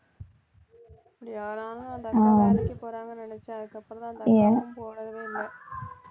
அப்படியா நான் அந்த அக்கா வேலைக்கு போறாங்கன்னு நினைச்சேன் அதுக்கப்புறம்தான்